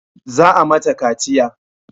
Za a mata kaciya